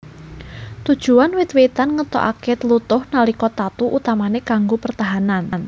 Tujuan wit witan ngetokake tlutuh nalika tatu utamane kanggo pertahanan